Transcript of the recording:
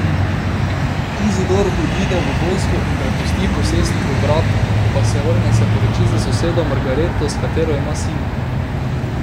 Izidor odide v vojsko in prepusti posestvo bratu, ko pa se vrne, se poroči s sosedo Margareto, s katero ima sina.